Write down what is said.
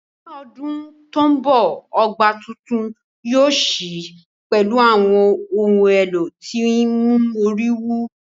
Ní ọdún tó ń bọ̀, ọgbà tuntun yóò ṣí pẹ̀lú àwọn ohùn èlò tí ń mú orí wú